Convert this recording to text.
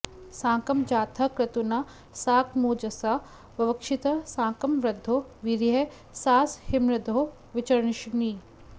साकं जातः क्रतुना साकमोजसा ववक्षिथ साकं वृद्धो वीर्यैः सासहिर्मृधो विचर्षणिः